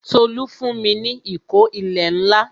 Tolu fún mi ní ìkó ilẹ̀ ńlá